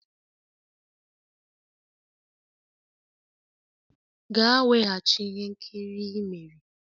Gaa weghachi ihe nkiri i mere!